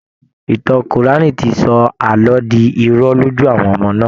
Ìtàn Kùránì ti sọ àlọ́ di irọ́ lójú àwọn ọmọ náà